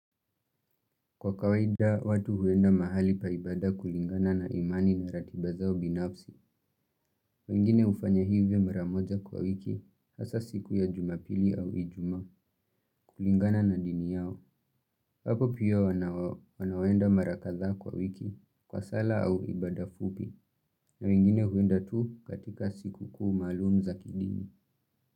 Kwa kawaida watu huenda mahali pa ibada kulingana na imani na ratiba zao binafsi, wengine hufanya hivyo maramoja kwa wiki, hasa siku ya jumapili au ijumaa, kulingana na dini yao, hapo pia wanaoenda mara kathaa kwa wiki, kwa sala au ibada fupi, na wengine huenda tu katika siku kuu malum za kidini.